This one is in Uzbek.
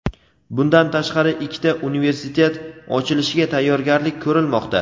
bundan tashqari ikkita universitet ochilishiga tayyorgarlik ko‘rilmoqda.